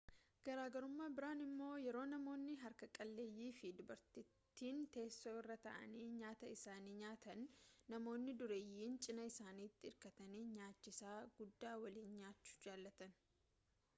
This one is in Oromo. garagarummaa biraan immoo yeroo namonnii harka qaleeyyii fi dubartittiin teessoo irra taa'anii nyaata isaanii nyaatan namoonni dureeyyiin cinaa isaaniitiin irkatanii nyaachisa guddaa waliin nyaachuu jaallatan